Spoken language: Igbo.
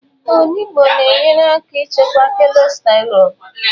Onugbu na-enyere aka ịchịkwa cọlesterọ.